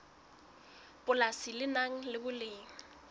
polasi le nang le boleng